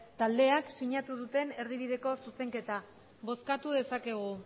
taldeak sinatu duten erdibideko zuzenketa bozkatu dezakegu